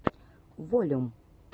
волюм